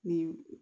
Ni